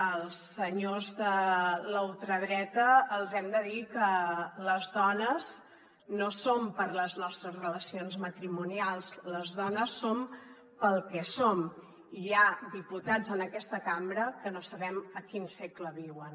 als senyors de la ultradreta els hem de dir que les dones no som per les nostres relacions matrimonials les dones som pel que som i hi ha diputats en aquesta cambra que no sabem a quin segle viuen